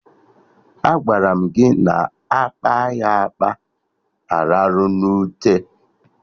Agwara m gị na akpa ya akpa, alarụ na ute